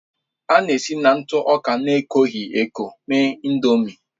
A na-esi na ntụ ọka na-ekoghị eko mee Ị̀ndómị́